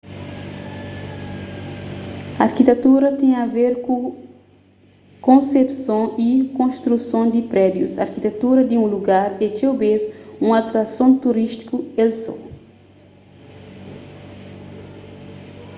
arkitetura ten a ver ku konsepson y konstruson di prédius arkitetura di un lugar é txeu bês un atrason turístiku el só